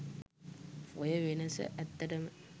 ඔය වෙනස ඇත්තටම